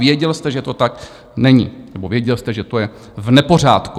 Věděl jste, že to tak není, nebo věděl jste, že to je v nepořádku.